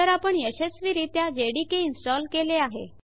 तर आपण यशस्वीरित्या जेडीके इनस्टॉल केले आहे